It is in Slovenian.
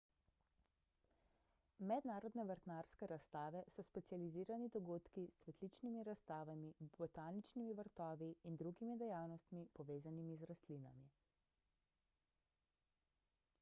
mednarodne vrtnarske razstave so specializirani dogodki s cvetličnimi razstavami botaničnimi vrtovi in drugimi dejavnostmi povezanimi z rastlinami